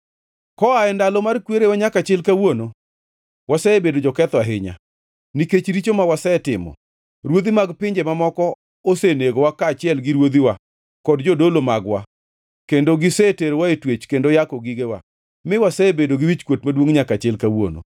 Koa e ndalo mar kwerewa nyaka chil kawuono, wasebedo joketho ahinya. Nikech richo ma wasetimo, ruodhi mag pinje mamoko osenegowa kaachiel gi ruodhiwa kod jodolo mag-wa kendo giseterowa e twech kendo yako gigewa, mi wasebedo gi wichkuot maduongʼ nyaka chil kawuono.